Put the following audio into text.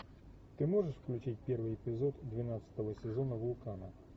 ты можешь включить первый эпизод двенадцатого сезона вулкана